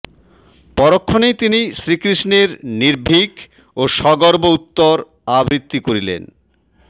পরক্ষণেই তিনি শ্রীকৃষ্ণের নির্ভীক ও সগর্ব উত্তর আবৃত্তি করিলেনঃ